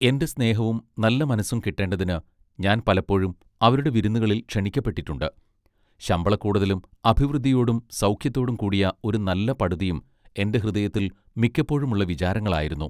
എന്റെ സ്നേഹവും നല്ല മനസ്സും കിട്ടേണ്ടതിന് ഞാൻ പലപ്പോഴും അവരുടെ വിരുന്നുകളിൽ ക്ഷണിക്കപ്പെട്ടിട്ടുണ്ട് ശമ്പളക്കൂടുതലും അഭിവൃദ്ധിയോടും സൗഖ്യത്തോടും കൂടിയ ഒരു നല്ല പടുതിയും എന്റെ ഹൃദയത്തിൽ മിക്കപ്പൊഴും ഉള്ള വിചാരങ്ങൾ ആയിരുന്നു.